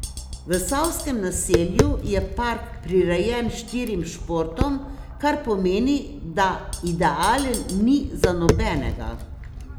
V Savskem naselju je park prirejen štirim športom, kar pomeni, da idealen ni za nobenega.